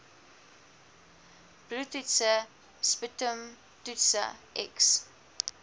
bloedtoetse sputumtoetse x